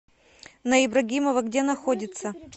на ибрагимова где находится